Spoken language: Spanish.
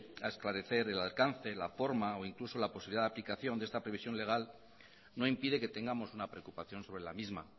a esclarecer el alcance la forma o incluso la posibilidad de aplicación de esta previsión legal no impide que tengamos una preocupación sobre la misma